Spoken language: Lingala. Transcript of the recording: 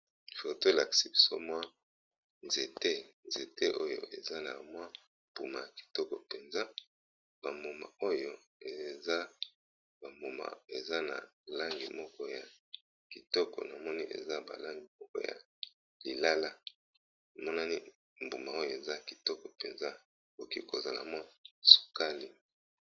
Foto elakisi biso nzete eza na mbuma kitoko eza na langi ya lilala eza mbuma ya sukali